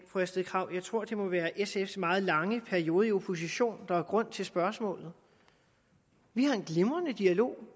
fru astrid krag at jeg tror at det må være sfs meget lange periode i opposition der er grund til spørgsmålet vi har en glimrende dialog